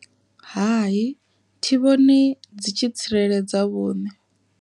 Hai thi vhoni dzi tshi tsireledza vhuṋe.